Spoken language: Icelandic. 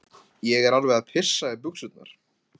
Ég er alveg að pissa í buxurnar.